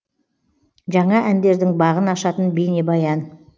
жаңа әндердің бағын ашатын бейнебаян